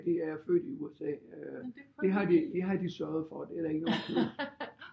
De er født i USA det har de sørget for det er der ikke nogen tvivl